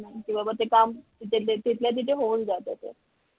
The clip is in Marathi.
किंवा मग ते काम तिथल्या तिथे ते होऊन जाते ते